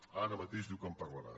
ara mateix diu que en parlarà